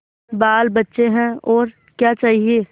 बालबच्चे हैं और क्या चाहिए